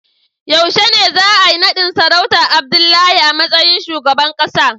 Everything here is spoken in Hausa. Yaushe ne za a yi nadin sarautar Abdullahi a matsayin shugaban kasa?